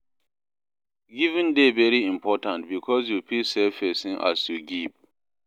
Giving de very important because you fit save persin as you give